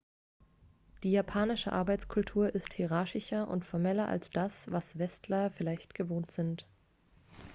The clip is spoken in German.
die japanische arbeitskultur ist hierarchischer und formeller als das was westler vielleicht gewohnt sind